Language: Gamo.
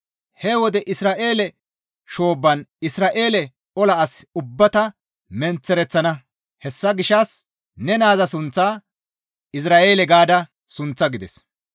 He wode Izra7eele shoobban Isra7eele ola asa ubbaa ta menththereththana; hessa gishshas ne naaza sunththaa, ‹Izra7eele› gaada sunththa» gides.